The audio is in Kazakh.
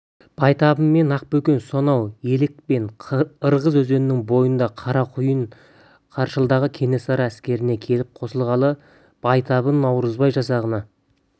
байтабын мен ақбөкен сонау елек пен ырғыз өзенінің бойынан қарақойын қашырлыдағы кенесары әскеріне келіп қосылғалы байтабын наурызбай жасағына